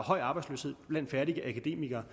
arbejdsløshed blandt færdige akademikere